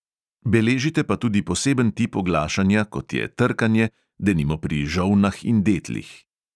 Beležite pa tudi poseben tip oglašanja, kot je trkanje, denimo pri žolnah in detlih.